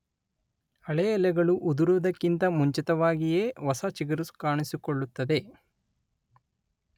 ಹಳೆ ಎಲೆಗಳು ಉದುರುವುದಕ್ಕಿಂತ ಮುಂಚಿತವಾಗಿಯೇ ಹೊಸ ಚಿಗುರು ಕಾಣಿಸಿಕೊಳ್ಳುತ್ತದೆ.